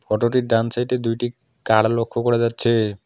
ফটোটির ডান সাইডে দুইটি কার লক্ষ্য করা যাচ্ছে।